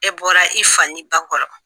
E bɔra i fa ni ba kɔrɔ!